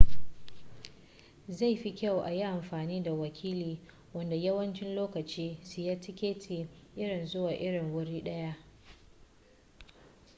zai fi kyau a yi amfani da wakili wanda yawanci lokaci siya tiketi irin zuwa irin wuri daya